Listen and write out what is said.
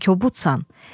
Sən kobudsan.